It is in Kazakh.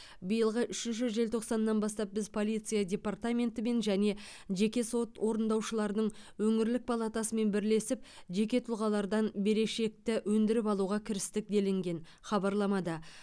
биылғы үшінші желтоқсанынан бастап біз полиция департаментімен және жеке сот орындаушыларының өңірлік палатасымен бірлесіп жеке тұлғалардан берешекті өндіріп алуға кірістік делінген хабарламада